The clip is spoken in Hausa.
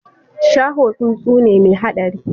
Shaho tsuntsu ne mai haɗari